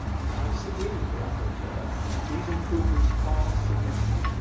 I disagree with the rapporteur. These improvements are significant.